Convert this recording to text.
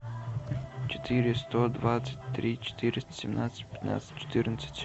четыре сто двадцать три четыреста семнадцать пятнадцать четырнадцать